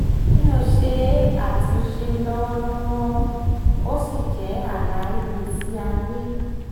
mi ò ṣe àtúnṣe lọ́wọ́lọ́wọ́ ó sì jẹ́ àlá ìgbésí ayé